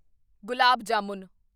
gulab jamun